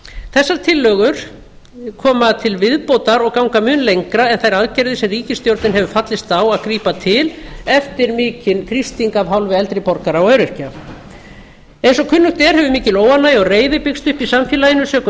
þessar tillögur koma til viðbótar og ganga mun lengra en þær aðgerðir sem ríkisstjórnin hefur fallist á að grípa til eftir mikinn þrýsting af hálfu eldri borgara og öryrkja eins og kunnugt er hefur mikil óánægja og reiði byggst upp í samfélaginu sökum